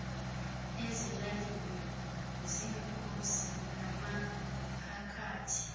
ezilalini ziinkosi namaphakathi